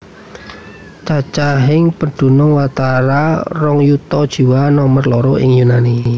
Cacahing pedunung watara rong yuta jiwa nomer loro ing Yunani